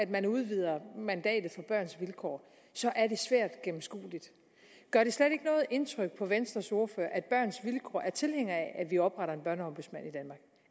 man udvider mandatet for børns vilkår så er det svært gennemskueligt gør det slet ikke noget indtryk på venstres ordfører at børns vilkår er tilhængere af at vi opretter